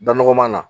Da nɔgɔman na